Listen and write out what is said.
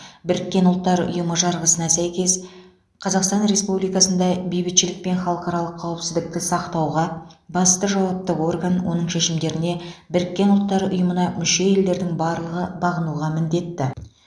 біріккен ұлттар ұйымы жарғысына сәйкес қазақстан республикасындай бейбітшілік пен халықаралық қауіпсіздікті сақтауға басты жауапты орган оның шешімдеріне біріккен ұлттар ұйымына мүше елдердің барлығы бағынуға міндетті